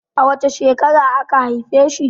A wace shekara aka haife shi?